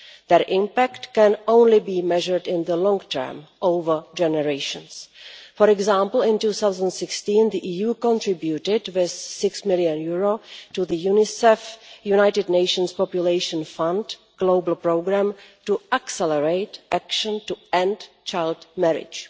Their impact can only be measured in the long term over generations. For example, in 2016 the EU contributed EUR 6 million to the UNICEF United Nations Population Fund Global Programme to Accelerate Action to End Child Marriage.